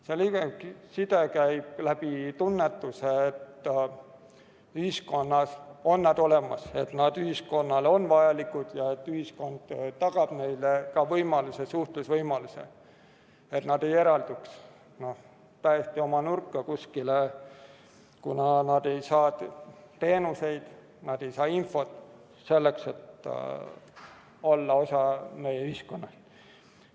See side käib läbi tunnetuse, et ühiskonnas on nad olemas, et nad ühiskonnale on vajalikud ja et ühiskond tagab neile ka võimaluse, suhtlusvõimaluse, et nad ei eralduks kuhugi täiesti oma nurka, kuna nad ei saa teenuseid, nad ei saa infot selleks, et olla osa meie ühiskonnast.